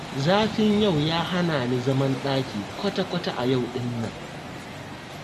Zafin yau ya hana ni zaman ɗaki kwata-kwata a yau ɗin nan